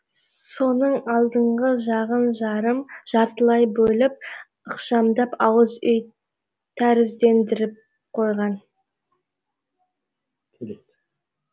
соның алдыңғы жағын жарым жартылай бөліп ықшамдап ауыз үй тәріздендіріп қойған